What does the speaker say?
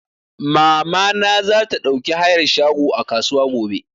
Mama na za ta ɗauki hayar shago a kasuwa gobe